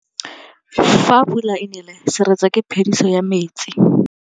Fa pula e nelê serêtsê ke phêdisô ya metsi.